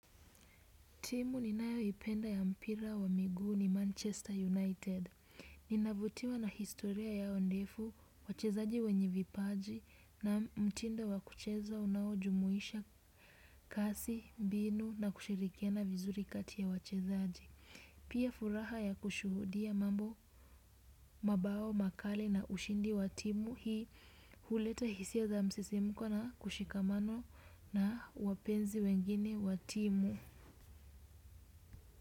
Timu ninayoipenda ya mpira wa miguu ni Manchester United. Ninavutiwa na historia yao ndefu, wachezaji wenye vipaji na mtindo wa kucheza unaojumuisha kasi, mbinu na kushirikiana vizuri kati ya wachezaji. Pia furaha ya kushuhudia mabao, makali na ushindi wa timu hii huleta hisia za msisimko na mshikamano na wapenzi wengine watimu.